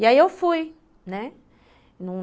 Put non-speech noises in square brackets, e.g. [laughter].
E aí eu fui, né. [unintelligible]